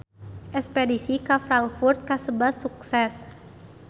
Espedisi ka Frankfurt kasebat sukses